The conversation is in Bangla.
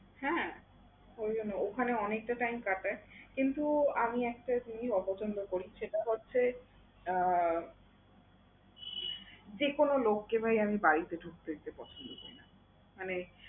হ্যাঁ, ঐখানে অনেকটা time কাটায় কিন্তু আমি একটা জিনিস অপছন্দ করি সেটা হচ্ছে আহ যেকোনো লোককে ভাই আমি বাড়িতে ঢুকতে দিতে পছন্দ করি না। মানে